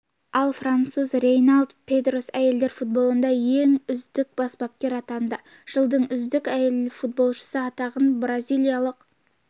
ал француз рейнальд педрос әйелдер футболында үздік бас бапкер атанды жылдың үздік әйел футболшысы атағын бразилиялық